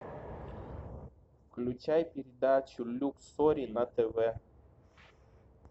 включай передачу люксори на тв